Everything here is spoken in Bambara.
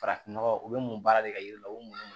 Farafinnɔgɔ u bɛ mun baara de ka yiri la u mu